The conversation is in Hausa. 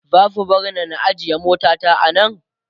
zasu barni na ajye mota ta a Nan?